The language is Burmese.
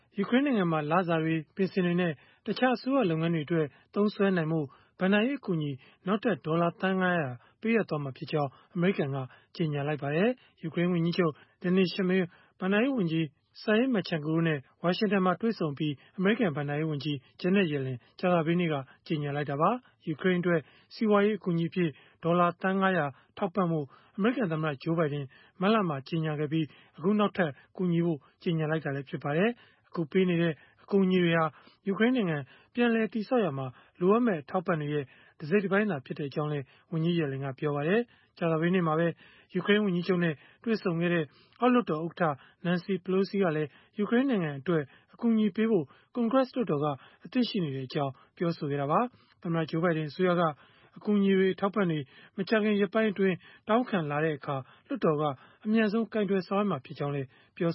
ယူကရိန်းနိုင်ငံမှာ လစာတွေ၊ ပင်စင်တွေနဲ့ တခြားအစိုးရ လုပ်ငန်းတွေအတွက် သုံးစွဲနိုင်ဖို့ ဘဏ္ဍာရေးအကူအညီ နောက်ထပ် ဒေါ်လာ သန်း ၅၀၀ ပေးအပ်မှာဖြစ်ကြောင်း အမေရိကန်က ကြေညာလိုက်ပါတယ်။ ယူကရိန်းဝန်ကြီးချုပ် Denys Shmyhal ဘဏ္ဍာရေးဝန်ကြီး Serhiy Marchenko တို့နဲ့ ဝါရှင်တန်မှာ တွေ့ဆုံအပြီး အမေရိကန် ဘဏ္ဍာရေးဝန်ကြီး Janet Yellen ကြာသပတေးနေ့က ကြေညာလိုက်တာပါ။ ယူကရိန်းအတွက် စီးပွားရေး အကူအညီအဖြစ် ဒေါ်လာသန်း ၅၀၀ ထောက်ပံ့ဖို့ အမေရိကန်သမ္မတ Joe Biden မတ်လမှာ ကြေညာခဲ့ပြီး၊ အခုနောက်ထပ် ကူညီဖို့ ကြေညာလိုက်တာလည်း ဖြစ်ပါတယ်။ အခုပေးအပ်နေတဲ့ အကူအညီတွေဟာ ယူကရိန်းနိုင်ငံ ပြန်လည်တည်ဆောက်ရာမှာ လိုအပ်မယ့် အထောက်အပံ့တွေရဲ့ တစိတ်တပိုင်းသာ ဖြစ်ကြောင်းလည်း ဝန်ကြီး Yellen ကပြောပါတယ်။ ကြာသပတေးနေ့မှာပဲ ယူကရိန်း ဝန်ကြီးချုပ်နဲ့ တွေ့ဆုံခဲ့တဲ့ အောက်လွှတ်တော်ဥက္ကဋ္ဌ Nancy Pelosi ကလည်း ယူကရိန်းနိုင်ငံအတွက် အကူအညီပေးဖို့ ကွန်ဂရက်လွှတ်တော်က အသင့်ရှိနေကြောင်း ပြောဆိုခဲ့တာပါ။ သမ္မတ Joe Biden အစိုးရက အကူအညီ အထောက်အပံ့တွေ မကြာခင် ရက်ပိုင်းအတွင်း တောင်းခံလာတဲ့အခါ လွှတ်တော်က အမြန်ဆုံး ကိုင်တွယ်ဆောင်ရွက်မှာ ဖြစ်ကြောင်းလည်း ပြော